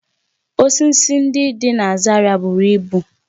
Osisi ndị dị na Zaria buru ibu